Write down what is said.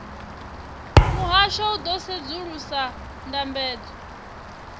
muhasho u ḓo sedzulusa ndambedzo